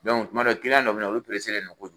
Dɔnku tuma don dɔw bɛ na olu pereselen don kojugu.